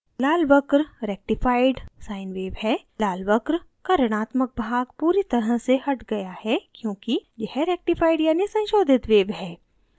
लाल वक्र rectified संशोधित sine wave है लाल वक्र का ऋणात्मक भाग पूरी तरह से हट गया है क्यौंकि यह rectified यानि संशोधित wave है